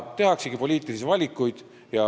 Tehaksegi poliitilisi valikuid.